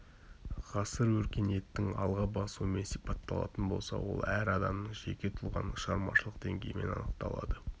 ғасыр өркениеттің алға басуымен сипатталатын болса ол әр адамның жеке тұлғаның шығармашылық деңгейімен анықталады